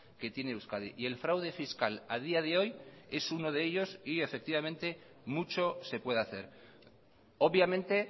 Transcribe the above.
que tiene euskadi y el fraude fiscal a día de hoy es uno de ellos y efectivamente mucho se puede hacer obviamente